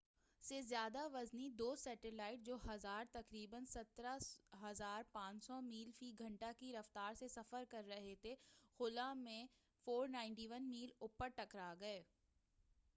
1,000 سے زیادہ وزنی دو سٹیلائٹ جو تقریبا 17,500 میل فی گھنٹہ کی رفتار سے سفر کر رہے تھےخلاء میں 491 میل اوپر ٹکرا گئے